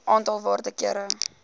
aantal waarde kere